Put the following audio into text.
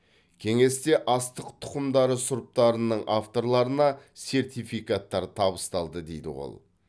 кеңесте астық тұқымдары сұрыптарының авторларына сертификаттар табысталды дейді ол